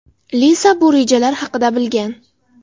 Liza bu rejalar haqida bilgan.